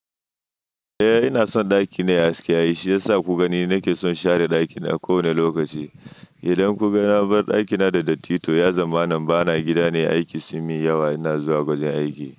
Eh ina son ɗakina aciki shi yasa kuka ni nake son share ɗakina kowane lokaci. Idan kuga na bar ɗakina da datti to ya zama nan bana gida ne aiki sun mi yawa ina zuwa gwajin aiki.